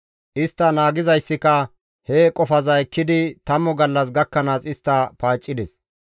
Istta naagizayssika he qofaza ekkidi tammu gallas gakkanaas istta paaccides.